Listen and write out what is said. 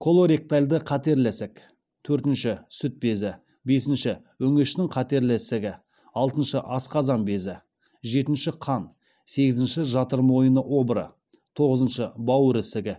колоректальды қатерлі ісік төртінші сүт безі бесінші өңештің қатерлі ісігі алтыншы асқазан безі жетінші қан сегізінші жатыр мойны обыры тоғызыншы бауыр ісігі